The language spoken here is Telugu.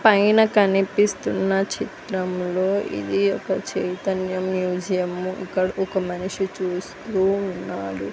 పైన కనిపిస్తున్న చిత్రంలో ఇది ఒక చైతన్య మ్యూజియం ఇక్కడ ఒక మనిషి చూస్తూ ఉన్నాడు.